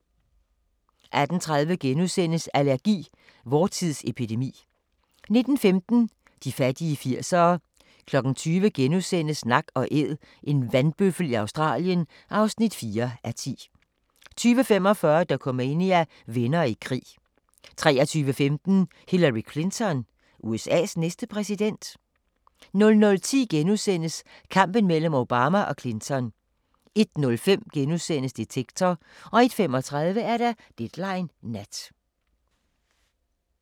18:30: Allergi: Vor tids epidemi * 19:15: De fattige 80'ere 20:00: Nak & Æd – en vandbøffel i Australien (4:10)* 20:45: Dokumania: Venner i krig 23:15: Hillary Clinton – USA's næste præsident? 00:10: Kampen mellem Obama og Clinton * 01:05: Detektor * 01:35: Deadline Nat